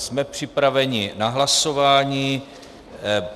Jsme připraveni na hlasování.